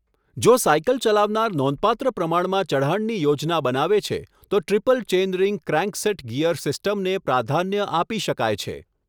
જો સાયકલ ચલાવનાર નોંધપાત્ર પ્રમાણમાં ચઢાણની યોજના બનાવે છે, તો ટ્રિપલ ચેનરીંગ ક્રેન્કસેટ ગિયર સિસ્ટમને પ્રાધાન્ય આપી શકાય છે.